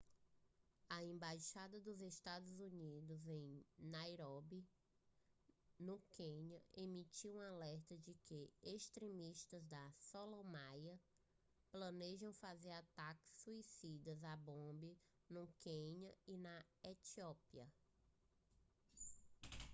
a embaixada dos estados unidos em nairóbi no quênia emitiu um alerta de que extremistas da somália planejam fazer ataques suicidas à bomba no quênia e na etiópia